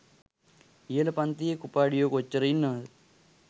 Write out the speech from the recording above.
ඉහල පන්තියේ කුපාඩියෝ කොච්චර ඉන්නවද